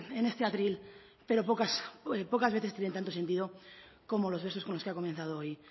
en este atril pero pocas veces tienen tanto sentido como los versos con los que ha comenzado hoy